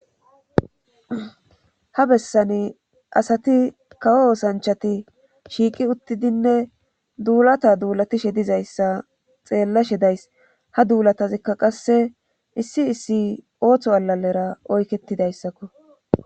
ha bessani asati kawo osanchati shiiqi uttidinne duulata duulatishe dizayssa xeellashe days ha duulatazikka qasse issi issi ooththo alalera oyketidayssakko